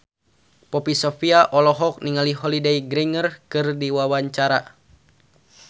Poppy Sovia olohok ningali Holliday Grainger keur diwawancara